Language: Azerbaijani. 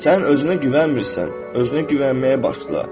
Sən özünə güvənmirsən, özünə güvənməyə başla.